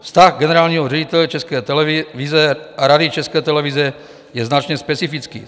Vztah generálního ředitele České televize a Rady České televize je značně specifický.